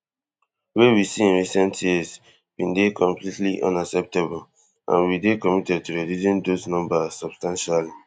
wey we see in recent years bin dey completely unacceptable and we dey committed to reducing those numbers substantially